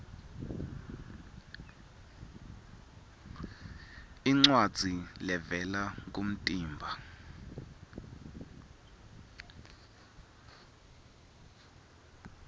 incwadzi levela kumtimba